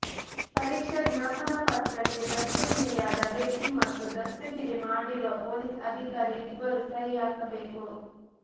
ಪರೀಕ್ಷಾ ಜ್ಞಾಪನ ಪತ್ರಕ್ಕೆ ದಸ್ತಗಿರಿಯಾದ ವ್ಯಕ್ತಿ ಮತ್ತು ದಸ್ತಗಿರಿ ಮಾಡಿರುವ ಪೊಲೀಸ್ ಅಧಿಕಾರಿ ಇಬ್ಬರು ಸಹಿ ಹಾಕಬೇಕು